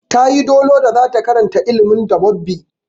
Ta yi dolo da zata karanta ilimin dabobbi.